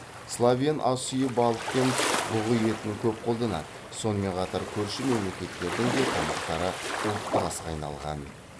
словен ас үйі балық пен бұғы етін көп қолданады сонымен қатар көрші мемлекеттердің де тамақтары ұлттық асқа айналған